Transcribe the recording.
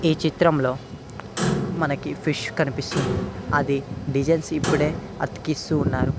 చిత్రంలో మనకి ఫిష్ కనిపిస్తున్నది అది డిజైన్స్ ఇప్పుడే అతికిస్తూ ఉన్నారు.